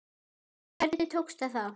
En hvernig tókst það þá?